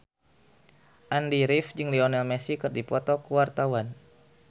Andy rif jeung Lionel Messi keur dipoto ku wartawan